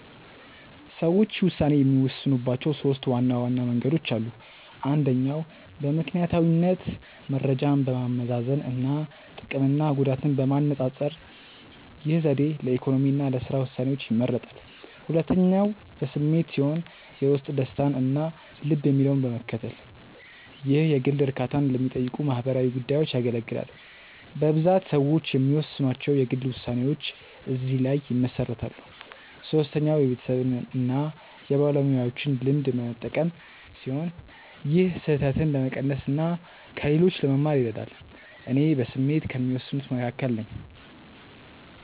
ሰዎች ውሳኔ የሚወስኑባቸው ሦስት ዋና መንገዶች አሉ። አንደኛው በምክንያታዊነት መረጃን በማመዛዘን እና ጥቅምና ጉዳትን በማነፃፀር። ይህ ዘዴ ለኢኮኖሚ እና ለሥራ ውሳኔዎች ይመረጣል። ሁለተኛው በስሜት ሲሆን የውስጥ ደስታን እና ልብ የሚለውን በመከተል። ይህ የግል እርካታን ለሚጠይቁ ማህበራዊ ጉዳዮች ያገለግላል። በብዛት ሰዎች የሚወስኗቸው የግል ውሳኔዎች እዚህ ላይ ይመሰረታሉ። ሶስተኛው የቤተሰብን እና የባለሙያዎችን ልምድ በመጠቀም ሲሆን ይህም ስህተትን ለመቀነስ እና ከሌሎች ለመማር ይረዳል። እኔ በስሜት ከሚወስኑት መካከል ነኝ።